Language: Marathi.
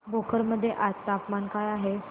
भोकर मध्ये आज तापमान काय आहे